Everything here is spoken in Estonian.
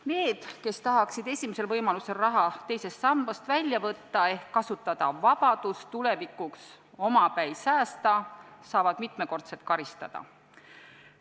Need, kes tahaksid esimesel võimalusel raha teisest sambast välja võtta ehk kasutada vabadust tulevikuks omapäi säästa, saavad mitmekordselt karistada.